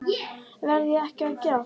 Verð ég ekki að gera það?